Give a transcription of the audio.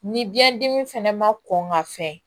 Ni biyɛn dimi fɛnɛ ma kɔn ka fɛn